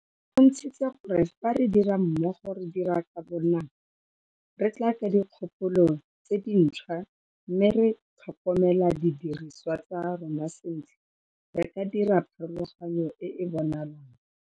E bontshitse gore fa re dira mmogo, re dira ka bonako, re tla ka dikgopolo tse dintšhwa mme re tlhokomela didirisiwa tsa rona sentle, re ka dira pharologano e e bonalang.